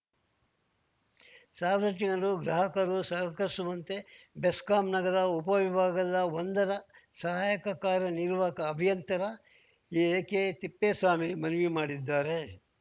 ಸಾರ್ವಜನಿಕರು ಗ್ರಾಹಕರು ಸಹಕರಿಸುವಂತೆ ಬೆಸ್ಕಾಂ ನಗರ ಉಪ ವಿಭಾಗದಒಂದರ ಸಹಾಯಕ ಕಾರ್ಯ ನಿರ್ವಾಹಕ ಅಭಿಯಂತರ ಎಕೆತಿಪ್ಪೇಸ್ವಾಮಿ ಮನವಿ ಮಾಡಿದ್ದಾರೆ